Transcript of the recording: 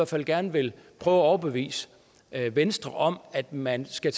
fald gerne vil prøve at overbevise venstre om at man skal